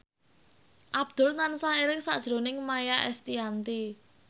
Abdul tansah eling sakjroning Maia Estianty